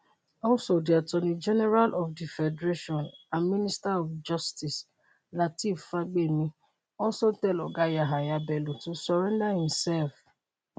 also di attorney general of di federation and minister of justice lateef fagbemi also tell oga yahaya bello to surrender imself.